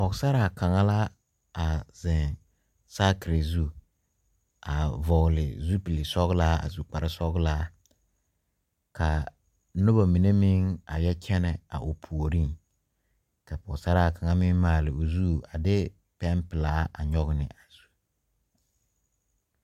Pɔgsaraa kaŋa la a zeŋ saakire zu a vɔɔle zupilsɔglaa a su kparesɔglaa kaa nobɔ mine meŋ a yɛ kyɛnɛ a o puoriŋ ka pɔɔsaraa kaŋa meŋ maale o zu a de pɛnpilaa a nyoge ne a zu.